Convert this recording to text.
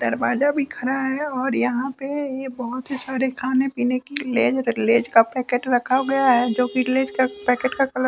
दरवाजा भी खड़ा है और यहां पे ये बहोत ही सारे खाने-पीने की लेज लेज का पैकेट रखा गया है जो कि लेज का पैकेट का कलर --